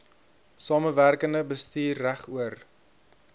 samewerkende bestuur regoor